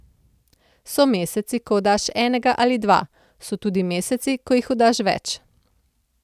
So meseci, ko oddaš enega ali dva, so tudi meseci, ko jih oddaš več.